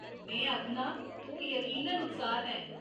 में आखना, तूं यकीनन उत्साह्त ऐं।